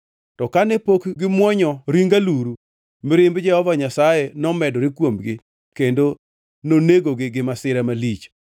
To kane pok gimuonyo ring alurugo, mirimb Jehova Nyasaye nomedore kuomgi, kendo nonegogi gi masira malich.